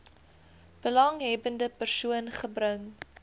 belanghebbende persoon gebring